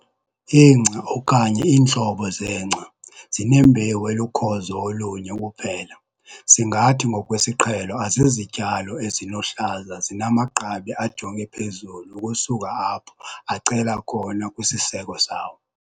ingca, okanye iintlobo zengca, zinembewu elukhozo olunye kuphela, singathi ngokwesiqhelo azizityalo ezinohlaza zinamagqabi ajonge phezulu ukusuka apho acela khona kwisiseko sawo.